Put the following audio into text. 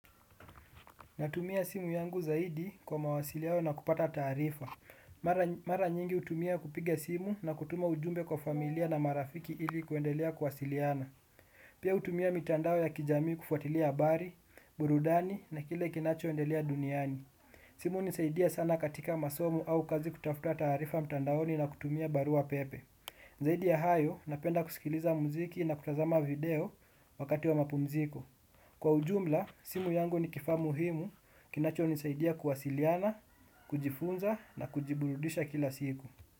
Natumia simu yangu zaidi kwa mawasiliano na kupata taarifa. Mara nyingi utumia kupiga simu na kutuma ujumbe kwa familia na marafiki ili kuendelea kuwasiliana. Pia utumia mitandao ya kijamii kufuatilia habari, burudani na kile kinachoendelea duniani. Simu hunisaidia sana katika masomo au kazi kutafuta taarifa mtandaoni na kutumia barua pepe. Zaidi ya hayo napenda kusikiliza muziki na kutazama video wakati wa mapumziko. Kwa ujumla, simu yangu ni kifaa muhimu, kinachonisaidia kuwasiliana, kujifunza na kujiburudisha kila siku.